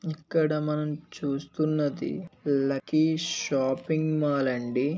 ఇక్కడ మనం చూస్తున్నది లక్కీ షాపింగ్ మాల్ అండి.